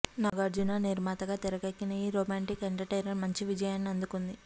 నాగార్జున నిర్మాతగా తెరకెక్కిన ఈ రొమాంటిక్ ఎంటర్టైనర్ మంచి విజయాన్ని అందుకుంది